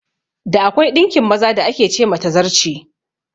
Da, akwai ɗinkin maza da ake ce ma "Tazarce".